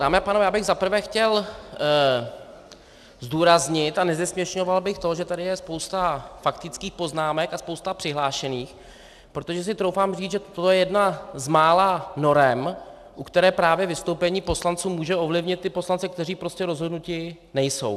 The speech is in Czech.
Dámy a pánové, já bych za prvé chtěl zdůraznit, a nezesměšňoval bych to, že tady je spousta faktických poznámek a spousta přihlášených, protože si troufám říct, že to je jedna z mála norem, u které právě vystoupení poslanců může ovlivnit ty poslance, kteří prostě rozhodnuti nejsou.